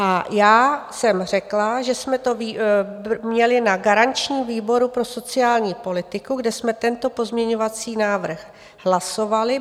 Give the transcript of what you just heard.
A já jsem řekla, že jsme to měli na garančním výboru pro sociální politiku, kde jsme tento pozměňovací návrh hlasovali.